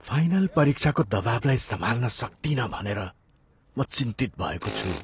Final परीक्षाको दबाउलाई सम्हाल्न सक्दिनँ भनेर म चिन्तित भएको छु।